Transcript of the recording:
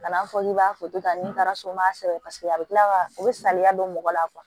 Kana fɔ k'i b'a foto ta ni taara so maa saba a bɛ tila ka o bɛ saliya don mɔgɔ la kuwa